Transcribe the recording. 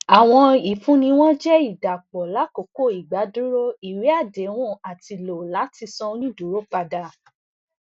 awọn ifunni wọn jẹ idapọ lakoko igbaduro iwe adehun ati lo lati san oniduro pada